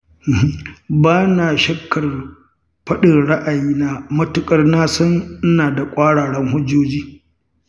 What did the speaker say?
Ba na shakkar faɗin ra'ayina, matuƙar na san ina da ƙwararan hujjoji.